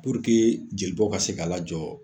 Puruke jelibɔ ka se ka la jɔ